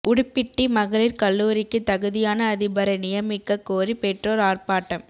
உடுப்பிட்டி மகளிர் கல்லூரிக்கு தகுதியான அதிபரை நியமிக்கக் கோரி பெற்றோர் ஆர்ப்பாட்டம்